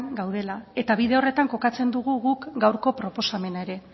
gaudela eta bide horretan kokatzen dugu guk gaurko proposamena ere